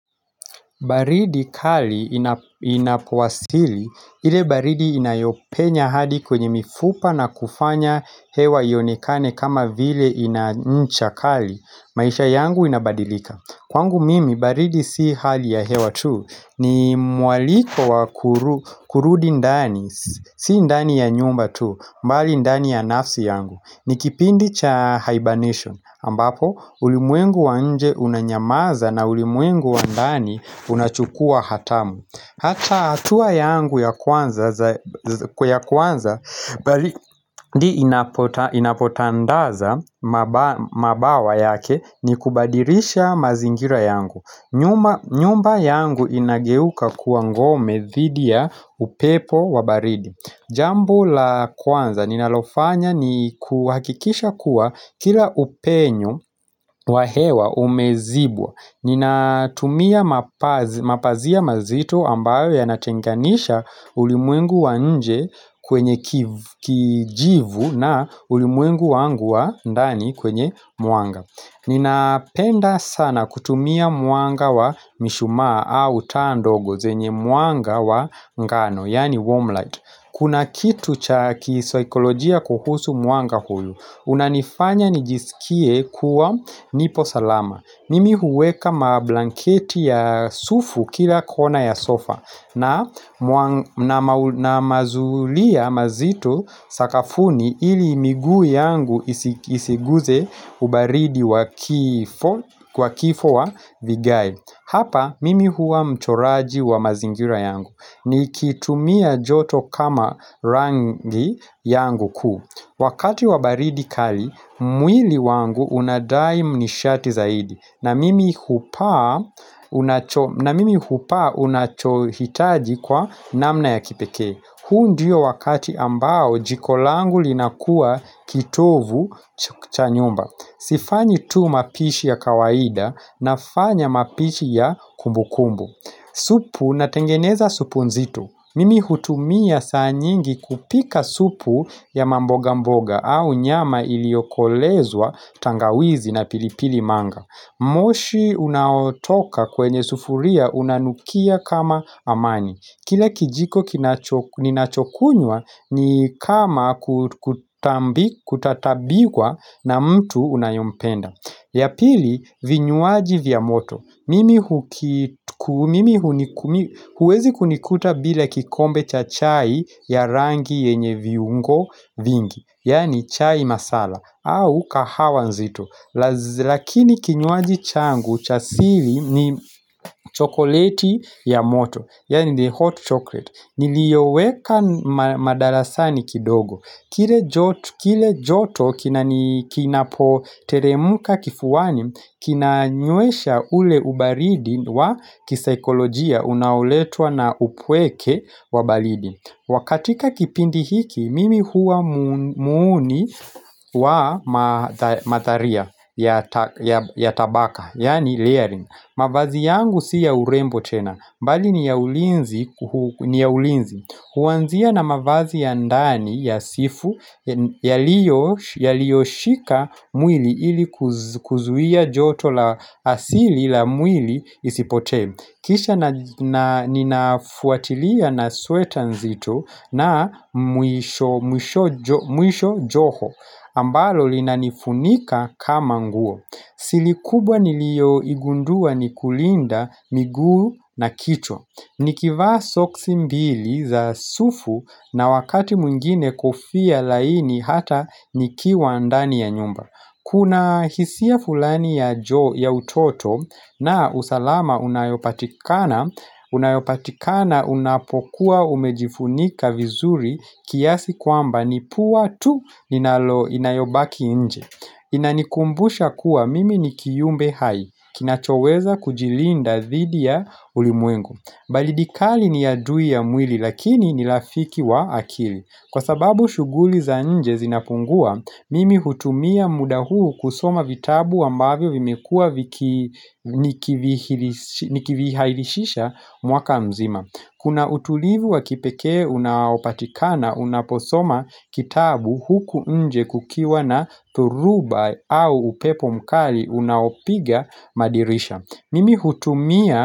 Baridi kali inapowasili, ile baridi inayopenya hadi kwenye mifupa na kufanya hewa ionekane kama vile ina ncha kali, maisha yangu inabadilika. Kwangu mimi, baridi si hali ya hewa tu, ni mwaliko wa kurudi ndani, si ndani ya nyumba tu, mbali ndani ya nafsi yangu. Ni kipindi cha hibernation ambapo ulimwengu wa nje unanyamaza na ulimwengu wa ndani unachukua hatamu Hata hatua yangu ya kwanza kwe ya kwanza baridi inapotandaza mabawa yake ni kubadilisha mazingira yangu nyumba yangu inageuka kuwa ngome dhidi ya upepo wa baridi Jambo la kwanza ninalofanya ni kuhakikisha kuwa kila upenyo wa hewa umezibwa Ninatumia mapazia mazito ambayo ya natenganisha ulimwengu wa nje kwenye kijivu na ulimuengu wangu wa ndani kwenye mwanga Ninapenda sana kutumia mwanga wa mishumaa au taa ndogo zenye mwanga wa ngano yaani 'warm light' Kuna kitu cha kisaikolojia kuhusu mwanga huu unanifanya nijisikie kuwa nipo salama Mimi huweka mablanketi ya sufu kila kona ya sofa na mazulia mazitu sakafuni ili miguu yangu isiguze ubaridi kwa kifo wa vigai Hapa mimi huwa mchoraji wa mazingira yangu Nikitumia joto kama rangi yangu kuu Wakati wa baridi kali mwili wangu unadai mnishati zaidi na mimi hupaa unachohitaji kwa namna ya kipekee huu ndiyo wakati ambao jiko langu linakuwa kitovu cha nyumba Sifanyi tu mapishi ya kawaida Nafanya mapishi ya kumbu kumbu Supu natengeneza supu nzitu. Mimi hutumia saa nyingi kupika supu ya mboga mboga au nyama iliyokolezwa tangawizi na pilipili manga. Moshi unaotoka kwenye sufuria unanukia kama amani. Kile kijiko ninachokunywa ni kama kutatabiwa na mtu unayempenda. Ya pili, vinywaji vya moto, mimi huwezi kunikuta bila kikombe cha chai ya rangi yenye vyungo vingi, yaani chai masala, au kahawa nzito, lakini kinywaji changu, cha sili ni chokoleti ya moto, yaani 'the hot chocolate' Niliyoweka madarasani kidogo Kile joto kinapoteremka kifuani kina nywesha ule ubaridi wa kisaikolojia Unaoletwa na upweke wa baridi kwa katika kipindi hiki, mimi huwa muuni wa matharia ya tabaka Yani layering mavazi yangu si ya urembo tena bali ni ya ulinzi, huwanzia na mavazi ya ndani ya sifu, yaliyoshika mwili ili kuzuia joto la asili la mwili isipotee. Kisha ninafuatilia na sweta nzito na mwisho joho, ambalo linanifunika kama nguo. Sili kubwa nilioigundua ni kulinda miguu na kichwa Nikivaa soksi mbili za sufu na wakati mwingine kofia laini hata nikiwa ndani ya nyumba Kuna hisia fulani ya jo ya utoto na usalama unayopatikana Unayopatikana unapokuwa umejifunika vizuri kiasi kwamba ni pua tu linalo inayobaki nje Inanikumbusha kuwa mimi ni kiumbe hai, kinachoweza kujilinda dhidi ya ulimwengu baridi kali ni adui ya mwili lakini ni rafiki wa akili Kwa sababu shughuli za nje zinapungua, mimi hutumia muda huu kusoma vitabu ambavyo vimekua nikivihilishisha mwaka mzima Kuna utulivu wa kipekee unaopatikana unaposoma kitabu huku nje kukiwa na dhuruba au upepo mkali unaopiga madirisha Mimi hutumia.